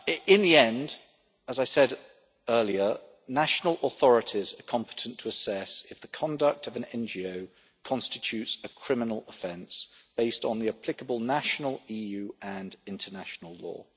In the end, as I said earlier, national authorities are competent to assess if the conduct of an NGO constitutes a criminal offence based on the applicable national, EU and international law.